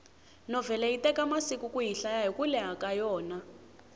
novhele yi teka masiku kuyi hlaya hiku leha ka yona